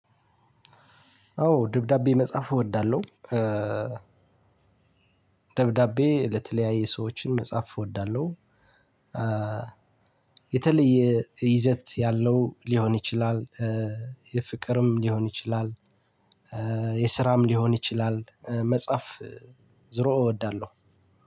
አዎ ደብዳቤ መጻፍ እወዳለሁ። ደብዳቤ ለተለያየ ሰዎችን መጻፍ እወዳለሁ። የተለየ ይዘት ያለው ሊሆን ይችላል የፍቅርም ሊሆን ይችላል የስራም ሊሆን ይችላል መጻፍ። ዞሮ እወዳለሁ።